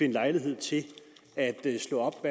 lejlighed til at slå op